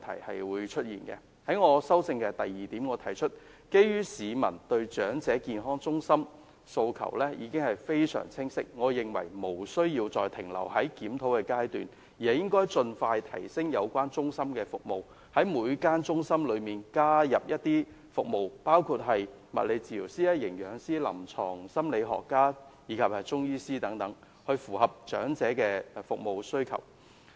我的修正案的第二部分指出，基於市民對長者健康中心的訴求已經非常清晰，我認為無須再停留在檢討階段，應該盡快提升有關中心的服務，在每間中心加入包括物理治療師、營養師、臨床心理學家及中醫等服務，以符合長者的服務需求。